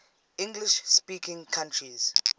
english speaking countries